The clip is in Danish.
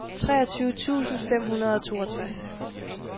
treogtyve tusind fem hundrede og toogtres